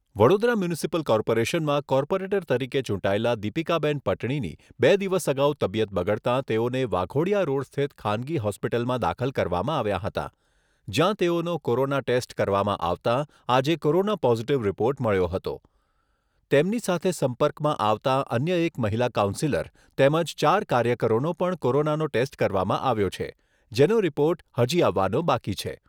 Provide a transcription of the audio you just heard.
Vadodara municipal કોર્પોરેશનમાં corporator તરીકે ચૂંટાયેલાં દિપીકાબેન પટણીની બે દિવસ અગાઉ તબિયત બગડતાં તેઓને વાઘોડિયા રોડ સ્થિત ખાનગી હોસ્પિટલમાં દાખલ કરવામાં આવ્યાં હતાં જ્યાં તેઓનો કોરોના ટેસ્ટ કરવામાં આવતાં આજે કોરોના પોઝિટિવ રિપોર્ટ મળ્યો હતો. તેમની સાથે સંપર્કમાં આવતાં અન્ય એક મહિલા કાઉન્સિલર તેમજ ચાર કાર્યકરોનો પણ કોરોનાનો ટેસ્ટ કરવામાં આવ્યો છે જેનો રિપોર્ટ હજી આવવાનો બાકી છે.